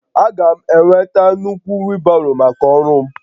Aga m enweta nnukwu wheelbarrow maka ọrụ m